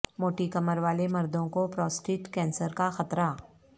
موٹی کمر والے مردوں کو پراسٹیٹ کینسر کا خطرہ